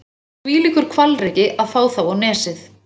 Það var þvílíkur hvalreki að fá þá á Nesið.